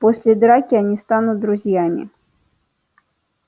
после драки они станут друзьями